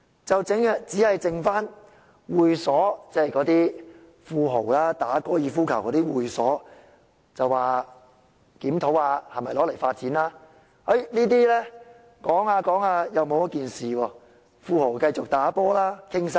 只餘下那些會所用地，即富豪打高爾夫球的會所，政府說會檢討是否用作發展，討論過後又沒有跟進，富豪可以繼續"打波"談生意。